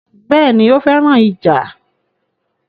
Béèni, ó féràn ìjà